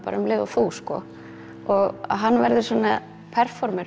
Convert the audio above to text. um leið og þú sko og hann verður svona